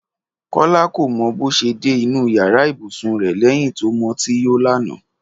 Kọ́lá kò mọ bó ṣe dé inú yàrá ibùsùn rẹ̀ lẹ́yìn tó mutí yó lánàá